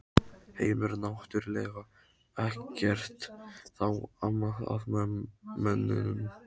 Heimir: Náttúrlega ekkert þá amað að mönnum?